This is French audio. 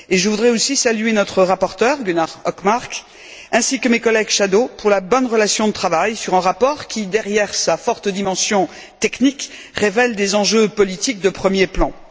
Je voudrais aussi saluer notre rapporteur, Gunnar Hökmark, ainsi que mes collègues, les rapporteurs fictifs, pour la bonne relation de travail sur un rapport qui, derrière sa forte dimension technique, révèle des enjeux politiques de premier plan.